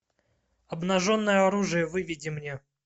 обнаженное оружие выведи мне